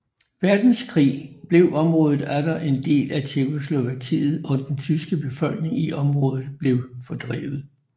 Verdenskrig blev området atter en del af Tjekkoslovakiet og den tyske befolkning i området blev fordrevet